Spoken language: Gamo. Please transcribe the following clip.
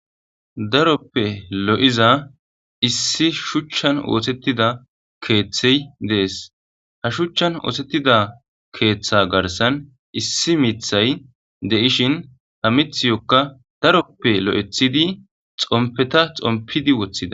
daroppe lo7iza issi shuchchan ootettida keeththey dees ha shuchchan ootettida keeththa garsan issi mithay deishin ha mithiyokka daroppe lo7ethidi xompeta xompidi woththida